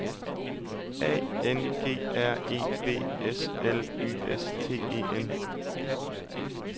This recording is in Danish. A N G R E B S L Y S T E N